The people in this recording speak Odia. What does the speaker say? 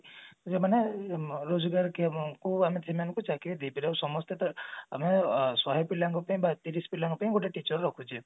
ମାନେ ରୋଜଗାର କ୍ଷମ କୁ ଆମେ ଯୋଉ ମାନଙ୍କୁ ଚାକିରି ଦେଇ ପାରିବା ସମସ୍ତେ ତ ଆମେ ଶହେ ପିଲାଙ୍କ ପାଇଁ ବା ତିରିଶି ପିଲାଙ୍କ ପାଇଁ ଗୋଟେ teacher ରଖୁଛେ